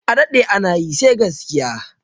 A daɗe ana yi sai gaskiya